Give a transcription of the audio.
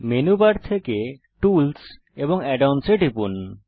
menu bar থেকে tools এবং add ons এ টিপুন